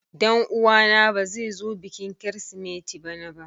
Danuwa na ba zai zo bikin kirisimeti bana ba.